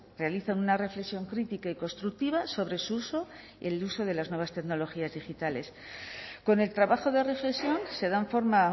realizan una reflexión crítica y constructiva sobre su uso y el uso de las nuevas tecnologías digitales con el trabajo de reflexión se dan forma a